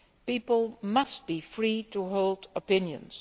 People must be free to hold opinions